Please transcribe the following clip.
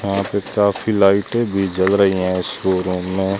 यहां पे काफी लाइटें भी जल रही हैं इस शोरूम में।